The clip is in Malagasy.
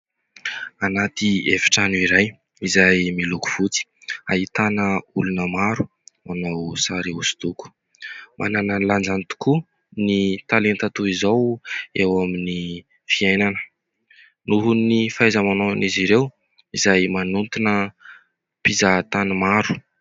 Anaty efitrano iray izay miloko fotsy ; ahitana olona maro manao sary hosodoko. Manana ny lanjany tokoa ny talenta toy izao eo amin'ny fiainana noho ny fahaiza-manaony izy ireo izay manintona mpizahatany maro.